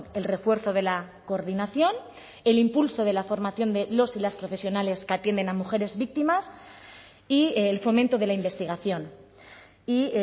el refuerzo de la coordinación el impulso de la formación de los y las profesionales que atienden a mujeres víctimas y el fomento de la investigación y